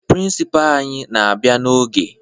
Prịnsịpaa anyị na-abịa n'oge